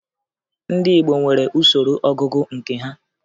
Ndị Igbo nwere usoro ọgụgụ nke ha